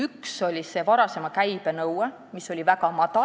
Üks oli varasema käibe nõue, mis oli väga madal.